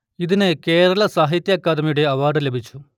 ഇതിന് കേരള സാഹിത്യ അക്കാദമിയുടെ അവാർഡ് ലഭിച്ചു